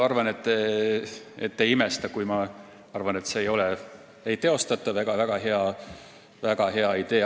Ma arvan, et te ei imesta, kui ma ütlen, et see ei ole ei teostatav ega väga hea idee.